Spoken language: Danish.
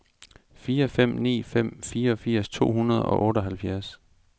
fire fem ni fem fireogfirs to hundrede og otteoghalvfjerds